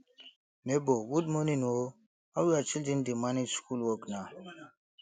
nebor good morning o how your children dey manage school work na